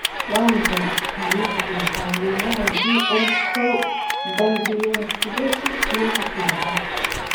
Waa maxay astamaha iyo calaamadaha GM koow gangliosidosis nooca sedexaad?